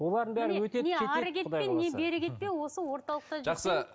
осы орталықта жақсы